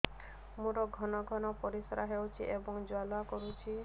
ମୋର ଘନ ଘନ ପରିଶ୍ରା ହେଉଛି ଏବଂ ଜ୍ୱାଳା କରୁଛି